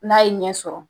N'a ye ɲɛ sɔrɔ